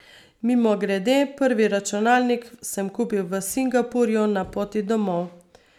Mimogrede, prvi računalnik sem kupil v Singapurju, na poti domov.